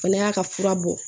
Fana y'a ka fura bɔ